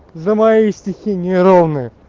за мои стихи не ровные